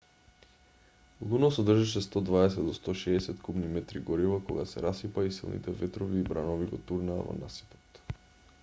луно содржеше 120-160 кубни метри гориво кога се расипа и силните ветрови и бранови го турнаа во насипот